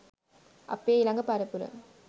අපේ ඊළඟ පරපුර